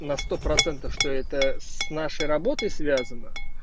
на сто процентов что это с нашей работой связано